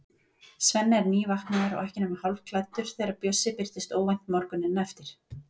Svenni er nývaknaður og ekki nema hálfklæddur þegar Bjössi birtist óvænt morguninn eftir.